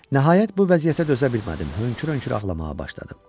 Nəhayət bu vəziyyətə dözə bilmədim, hönkür-hönkür ağlamağa başladım.